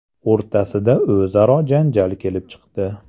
o‘rtasida o‘zaro janjal kelib chiqdi.